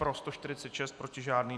Pro 146, proti žádný.